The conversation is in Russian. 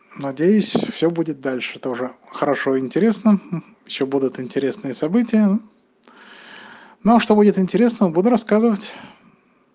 надеюсь всё будет дальше тоже хорошо интересно ещё будут интересные события но что будет интересно буду рассказывать